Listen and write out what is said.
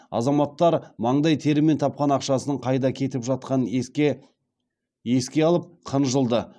азаматтар маңдай терімен тапқан ақшасының қайда кетіп жатқанын еске алып қынжылды